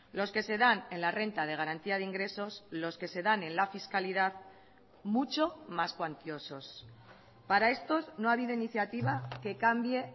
los que se dan en la renta de garantía de ingresos los que se dan en la fiscalidad mucho más cuantiosos para estos no ha habido iniciativa que cambie